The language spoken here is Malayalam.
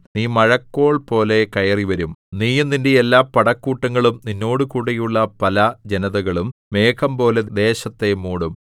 നീ മഴക്കോൾപോലെ കയറിവരും നീയും നിന്റെ എല്ലാ പടക്കൂട്ടങ്ങളും നിന്നോടുകൂടെയുള്ള പല ജനതകളും മേഘംപോലെ ദേശത്തെ മൂടും